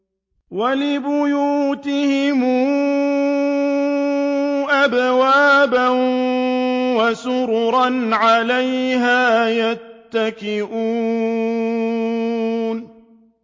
وَلِبُيُوتِهِمْ أَبْوَابًا وَسُرُرًا عَلَيْهَا يَتَّكِئُونَ